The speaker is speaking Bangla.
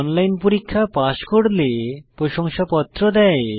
অনলাইন পরীক্ষা পাস করলে প্রশংসাপত্র দেয়